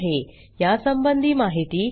यासंबंधी माहिती पुढील साईटवर उपलब्ध आहे